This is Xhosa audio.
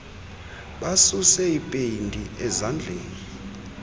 basuse ipeyinti ezandleni